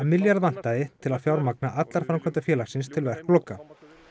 milljarð vantaði til að fjármagna allar framkvæmdir félagsins til verkloka